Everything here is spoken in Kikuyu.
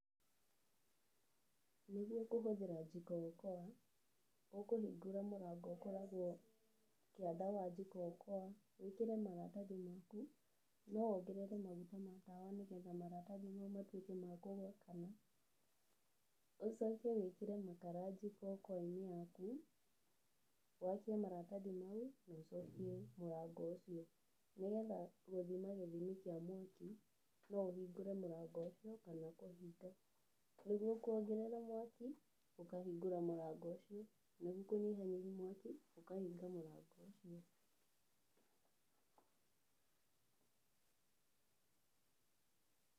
Nĩgũo kũhũthĩra jiko okoa ũkũhingũra mũrango ũkoragwo kĩanda wa jiko okoa wĩkĩre maratathi makũ, no wongerere magũta ma tawa, nĩgetha maratathi maũ matuĩke ma kũgwakana ũcoke wĩkĩre makara jiko okoa-inĩ yakũ, wakĩe maratathi maũ na ũcokie mũrango ũcio. Nĩgetha gũthima gĩthimi kia mwaki, no ũhĩngũre mũrango ũcio kana kũhinga. Nĩgũo kwongerera mwaki ũkahingũra mũrango ũcio, nĩgũo kũnyihanyihi mwaki ũkahinga mũrango ũcio.